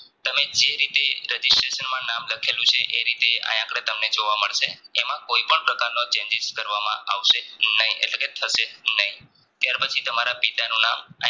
તમે જે રીતે Registration માં નામ લખેલું છે એ રીતે આયા આંધડે જોવા મળશે એમાં કોઈપણ પ્રકારનો changes કરવામાં આવશે નહિ એટલેકે થશે નહિ ત્યાર પછી તમારા પિતાનું નામ